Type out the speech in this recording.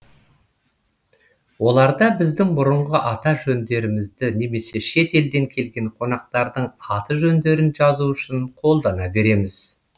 оларда біздің бұрынғы аты жөндерімізді немесе шет елден келген қонақтардың аты жөндерін жазу үшін қолдана береміз